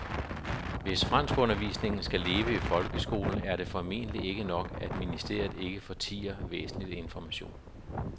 Hvis franskundervisningen skal leve i folkeskolen er det formentlig ikke nok, at ministeriet ikke fortier væsentlig information.